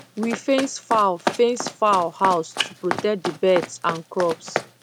we fence fowl fence fowl house to protect the birds and crops